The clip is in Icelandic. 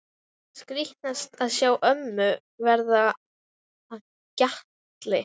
Skrítnast að sjá mömmu verða að gjalti.